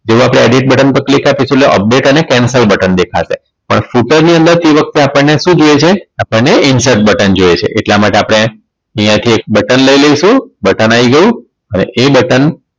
જેવું આપણે edit button પર click આપીશુ એટલે update અને cancel button દેખાશે પણ footer ની અંદર તે વખતે આપણને શું જોઈએ છે આપણને insert button જોઈએ છે એટલા માટે આપણે અહીંયા થી એક button લઈ લઈશું button આવી ગયું અને એ button